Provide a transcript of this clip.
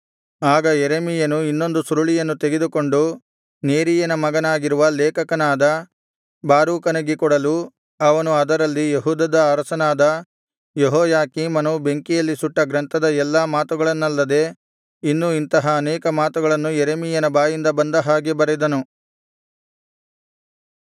ಆಗ ಯೆರೆಮೀಯನು ಇನ್ನೊಂದು ಸುರುಳಿಯನ್ನು ತೆಗೆದುಕೊಂಡು ನೇರೀಯನ ಮಗನಾಗಿರುವ ಲೇಖಕನಾದ ಬಾರೂಕನಿಗೆ ಕೊಡಲು ಅವನು ಅದರಲ್ಲಿ ಯೆಹೂದದ ಅರಸನಾದ ಯೆಹೋಯಾಕೀಮನು ಬೆಂಕಿಯಲ್ಲಿ ಸುಟ್ಟ ಗ್ರಂಥದ ಎಲ್ಲಾ ಮಾತುಗಳನ್ನಲ್ಲದೆ ಇನ್ನು ಇಂತಹ ಅನೇಕ ಮಾತುಗಳನ್ನು ಯೆರೆಮೀಯನ ಬಾಯಿಂದ ಬಂದ ಹಾಗೆ ಬರೆದನು